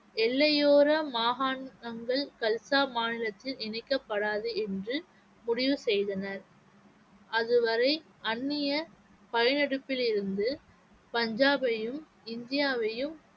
எல்லையோர மாகாணங்கள் கல்சா மாநிலத்தில் இணைக்கப்படாது என்று முடிவு செய்தனர் அதுவரை அந்நிய படையெடுப்பிலிருந்து பஞ்சாபையும் இந்தியாவையும்